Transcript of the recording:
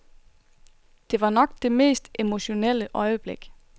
Det var nok det mest emotionelle øjeblik.